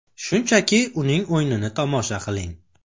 Shunchaki uning o‘yinini tomosha qiling”.